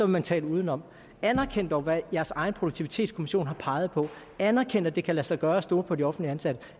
man tale udenom anerkend dog hvad jeres egen produktivitetskommission har peget på anerkend at det kan lade sig gøre at stole på de offentligt ansatte